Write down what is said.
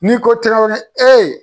N'i ko Trawɛrɛ eee.